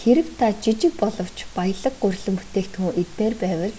хэрэв та жижиг боловч баялаг гурилан бүтээгдэхүүн идмээр байвал